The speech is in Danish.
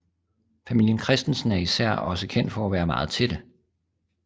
Familien Christensen er især også kendt for at være meget tætte